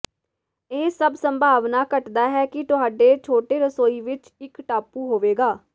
ਇਹ ਸਭ ਸੰਭਾਵਨਾ ਘੱਟਦਾ ਹੈ ਕਿ ਤੁਹਾਡੇ ਛੋਟੇ ਰਸੋਈ ਵਿੱਚ ਇੱਕ ਟਾਪੂ ਹੋਵੇਗਾ